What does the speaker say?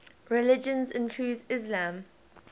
religions including islam